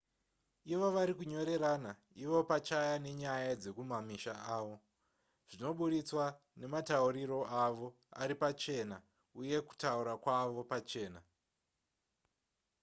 ivo vari kunyorerana ivo pachaya nenyaya dzekumamisha avo zvinoburitswa nematauriro avo aripachena uye kutaura kwavo pachena